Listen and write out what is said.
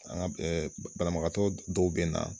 banabagatɔw bɛ na.